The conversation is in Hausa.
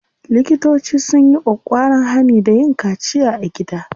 Likitoci sun yi ƙwaƙƙwaran hani da yin kaciya a gida.